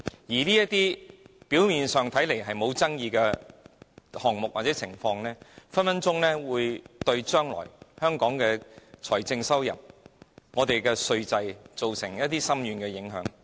這些表面上看似沒有爭議的項目或情況，很可能會對香港未來的財政收入或稅制造成深遠影響。